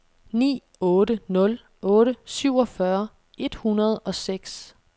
ni otte nul otte syvogfyrre et hundrede og seks